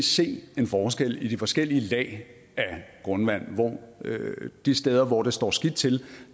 se en forskel i de forskellige lag af grundvand og de steder hvor det står skidt til